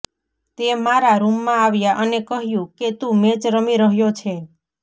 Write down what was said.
તે મારા રુમમાં આવ્યા અને કહ્યું કે તુ મેચ રમી રહ્યો છે